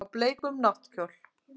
Á bleikum náttkjól.